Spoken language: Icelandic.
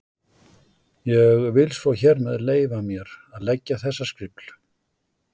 Ég vil svo hér með leyfa mér að leggja þessa skrifl.